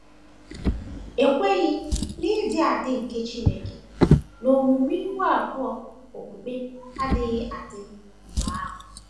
Ekweghị n’ịdị adị nke Chineke na omume ihu abụọ okpukpe agaghị adị mgbe ahụ.